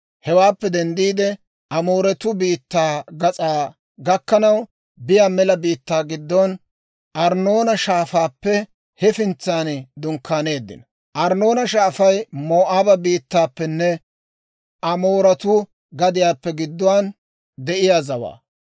Hewaappe denddiide, Amooretuu biittaa gas'aa gakkanaw biyaa mela biittaa giddon Arnnoona Shaafaappe hefintsan dunkkaaneeddino. Arnnoona Shaafay Moo'aaba biittaappenne Amooretuu gadiyaappe gidduwaan de'iyaa zawaa.